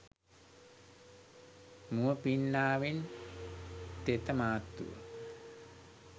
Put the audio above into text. මුව පින්නාවෙන් තෙත මාත්තුව